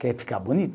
Quer ficar bonito?